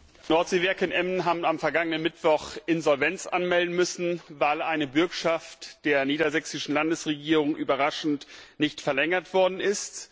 Herr Präsident! Die Nordseewerke in Emden haben am vergangenen Mittwoch Insolvenz anmelden müssen, weil eine Bürgschaft der niedersächsischen Landesregierung überraschend nicht verlängert worden ist.